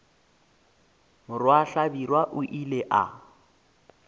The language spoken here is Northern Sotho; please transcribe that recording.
morwa hlabirwa o ile a